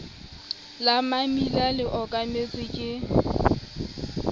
la mammila le okametsweng ke